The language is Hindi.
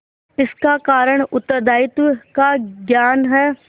इसका कारण उत्तरदायित्व का ज्ञान है